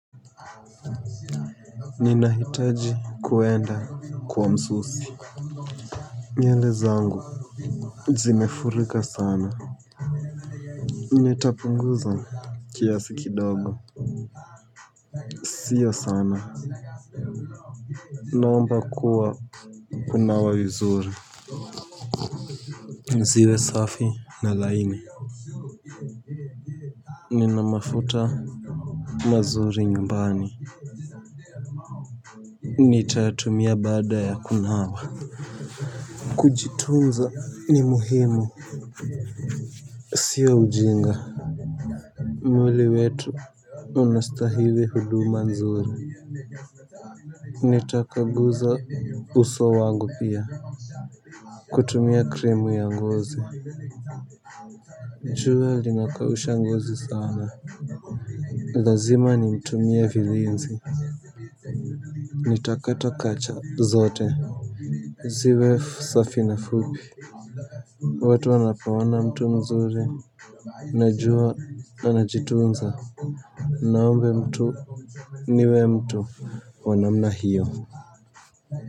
Ninahitaji kuenda kwa msusi. Nywele zangu zimefurika sana. Nitapunguza kiasi kidogo siyo sana. Naomba kuwa kunawa vizuri ziwe safi na laini nina mafuta mazuri nyumbani, nitayatumia baada ya kunawa. Kujitunza ni muhimu siyo ujinga. Mwili wetu unastahili huduma nzuri. Nitakaguza uso wangu pia. Kutumia kremu ya ngozi jua linakausha ngozi sawa na lazima nimtumie vilinzi. Nitakata kucha zote. Ziwe safi na fupi. Watu wnapoona mtu mzuri najua anajitunza. Naombe mtu niwe mtu wanamna hiyo.